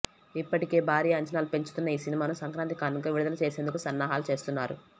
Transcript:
ఇప్పటికే భారీ అంచనాలు పెంచుకున్న ఈ సినిమాను సంక్రాంతి కానుకగా విడుదల చేసేందుకు సన్నాహాలు చేస్తున్నారు